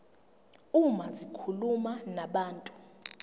uma zikhuluma nabantu